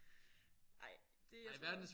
Ej det jeg tror